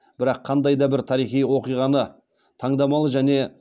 бірақ қандай да бір тарихи оқиғаны таңдамалы және